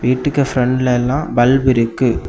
வீட்டுக்கு பிரண்ட்ல எல்லாம் பல்பு இருக்கு.